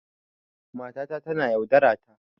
Matata tana yaudarata.